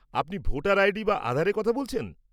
আপনি voter ID বা আধারের কথা বলছেন?